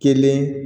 Kelen